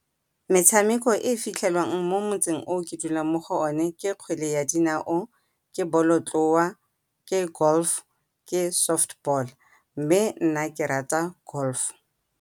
Metshameko e e fitlhelwang mo motseng o ke dulang mo go o ne ke kgwele ya dinao, ke bolotloa, ke golf, ke soft ball, mme nna ke rata golf.